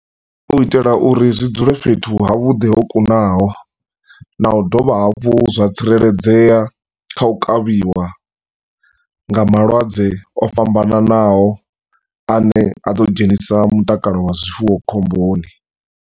U itela uri zwi dzule fhethu ha vhuḓi ho kunaho, na u dovha hafhu zwa tsireledzea, kha u kavhiwa nga malwadze o fhambananaho ane a ḓo dzhenisa mutakalo wa zwifuwo khomboni.